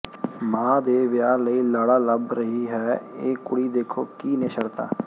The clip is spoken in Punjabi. ਮਾਂ ਦੇ ਵਿਆਹ ਲਈ ਲਾੜਾ ਲੱਭ ਰਹੀ ਹੈ ਇਹ ਕੁੜੀ ਦੇਖੋ ਕੀ ਨੇ ਸ਼ਰਤਾਂ